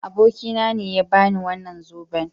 Abokina ne ya ba ni wannan zoben.